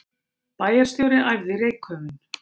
Bæjarstjóri æfði reykköfun